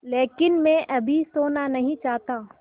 लेकिन मैं अभी सोना नहीं चाहता